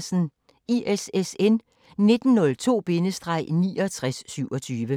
ISSN 1902-6927